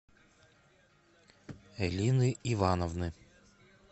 эллины ивановны